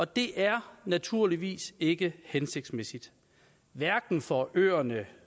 det er naturligvis ikke hensigtsmæssigt hverken for øerne